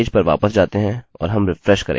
अतःचलिए अपने पेज पर वापस जाते हैं और हम रिफ्रेशrefrsehकरेंगे